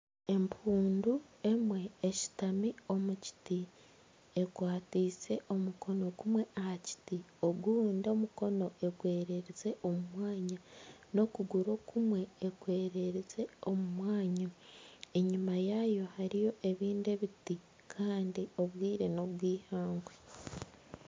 Empundu emwe eshutami omu kiti ekwatiise omukono gumwe aha kiti ogundi omukono egwererize omu mwanya, n'okuguru okumwe ekwererize omu mwanya, enyima yaayo hariyo ebindi ebiti kandi obwire n'obw'eihangwe